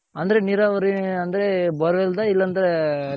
ಅಂದ್ರೆ ನಿರಾವರಿ ಅಂದ್ರೆ borewell ಇಲ್ಲ ಅಂದ್ರೆ